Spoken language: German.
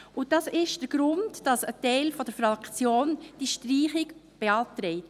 Das ist der Grund, weshalb ein Teil der Fraktion die Streichung beantragt.